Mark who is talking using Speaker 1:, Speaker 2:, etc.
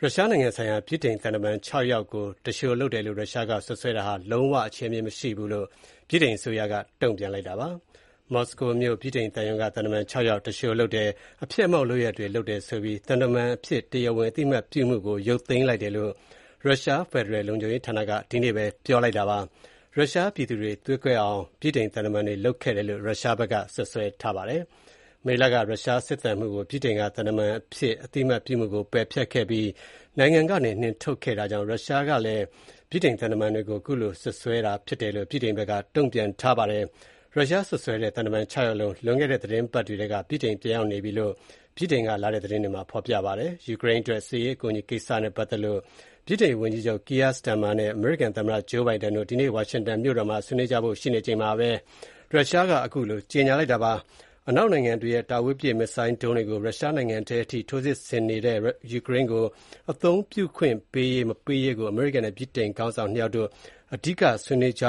Speaker 1: ရုရှားနိုင်ငံဆိုင်ရာ ဗြိတိန် သံတမန် ၆ ယောက်ကို သူလျှိုလုပ်တယ်လို့ ရုရှားက စွပ်စွဲတာဟာ လုံးဝ အခြေအမြစ်မရှိဘူးလို့ ဗြိတိန်အစိုးရက တုံ့ပြန်လိုက်ပါတယ်။ မော်စကိုမြို့ ဗြိတိန်သံရုံးက သံတမန် ၆ ယောက်ကို သူလျှိုလုပ်တယ်၊ အဖျက်အမှောင့် လုပ်ရပ်တွေလုပ်တယ်လို့ဆိုပြီး သံတမန်အဖြစ် တရားဝင်အသိအမှတ်ပြုမှုကို ရုတ်သိမ်းတယ်လို့ ရုရှားဖယ်ဒရယ်လုံခြုံရေးဌာနက ဒီနေ့ပြောကြားခဲ့ပါတယ်။ ရုရှားပြည်သူတွေသွေးကွဲအောင် ဗြိတိန်သံတမန်တွေက လုပ်တယ်လို့ ရုရှားဘက်က စွပ်စွဲပါတယ်။ မေလက ရုရှားစစ်သံမှူးကို ဗြိတိန်က သံတမန်အဖြစ် အသိအမှတ်ပြုမှုကို ပယ်ဖျက်ပြီး နိုင်ငံထဲကနေ နှင်ထုတ်ခဲ့တာကြောင့် ရုရှားက ဗြိတိန်သံတမန်တွေကို ခုလို စွပ်စွဲတာဖြစ်တယ်လို့ ဗြိတိန်ဘက်က တုံ့ပြန်ပါတယ်။ ရုရှားစွပ်စွဲတဲ့ သံတမန် ၆ ယောက်လုံး လွန်ခဲ့တဲ့သီတင်းပတ်တွေထဲက ဗြိတိန်ပြန်ရောက်နေကြတယ်လို့ ဗြိတိန်က လာတဲ့သတင်းတွေမှာ ဖော်ပြပါတယ်။ ယူကရိန်းအတွက် စစ်ရေးအကူအညီကိစ္စနဲ့ပတ်သက်လို့ ဗြိတိန်ဝန်ကြီးချုပ် Keir Starmer နဲ့ အမေရိကန်သမ္မတ Joe Biden တို့ ဒီနေ့ ဝါရှင်တန်မြို့တော်မှာ ဆွေးနွေးကြဖို့ ရှိနေချိန်မှာပဲ ရုရှားက ခုလို ကြေညာလိုက်တာပါ။ အနောက်နိုင်ငံတွေရဲ့တာဝေးပစ် မစ်ဇိုင်းဒုံးတွေတွေကို ရုရှားနိုင်ငံထဲအထိ ထိုးစစ်ဆင်နေတဲ့ ယူကရိန်းကို အသုံးပြုခွင့်ပေးရေး မပေးရေးကို အမေရိကန်နဲ့ ဗြိတိန်နိုင်ငံခေါင်းဆောင် ၂ ယောက် အဓိက ဆွေးနွေးကြ